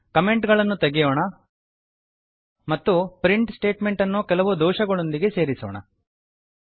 comment ಗಳನ್ನು ತೆಗೆಯೋಣ ಮತ್ತು ಪ್ರಿಂಟ್ ಸ್ಟೇಟ್ಮೆಂಟ್ ಅನ್ನು ಕೆಲವು ದೋಷಗಳೊಂದಿಗೆ ಸೇರಿಸೋಣ